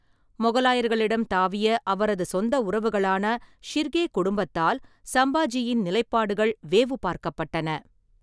மொகலாயர்களிடம் தாவிய அவரது சொந்த உறவுகளான ஷிர்கே குடும்பத்தால் சம்பாஜியின் நிலைப்பாடுகள் வேவு பார்க்கப்பட்டன.